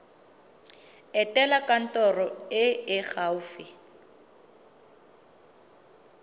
etela kantoro e e gaufi